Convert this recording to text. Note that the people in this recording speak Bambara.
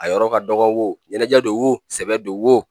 A yɔrɔ ka dɔgɔ wo, ɲɛnajɛ don wo, sɛbɛ don wo,